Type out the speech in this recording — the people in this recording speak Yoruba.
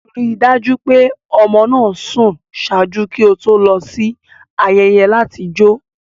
Rii daju pe ọmọ naa sùn ṣaaju ki o to lọ si ayẹyẹ lati jo